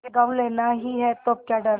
गॉँव लेना ही है तो अब क्या डर